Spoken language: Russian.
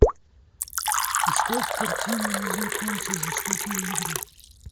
искать картину незнакомцы жестокие игры